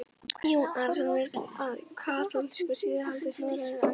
Jón Arason vill að kaþólskur siður haldist norðanlands á Íslandi.